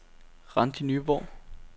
Randi Nyborg